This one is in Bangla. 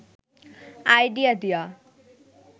আইডিয়া দিয়া